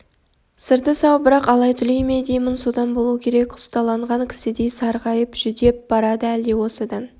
сырты сау бірақ алай-түлей ме деймін содан болу керек құсталанған кісідей сарғайып жүдеп барады әлде осыдан